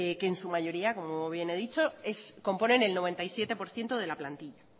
que en su mayoría como bien he dicho componen el noventa y siete por ciento de la plantilla